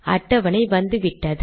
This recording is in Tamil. அட்டவணை வந்துவிட்டது